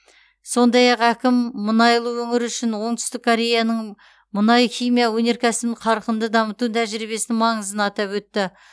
сондай ақ әкім мұнайлы өңір үшін оңтүстік кореяның мұнай химия өнеркәсібін қарқынды дамыту тәжірибесінің маңызын атап өтті